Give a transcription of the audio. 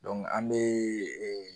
an bɛ